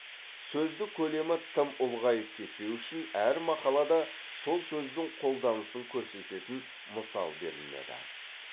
сөздік көлемі тым ұлғайып кетпеуі үшін әр мақалада сол сөздің қолданысын көрсететін мысал берілмеді